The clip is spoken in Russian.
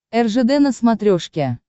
ржд на смотрешке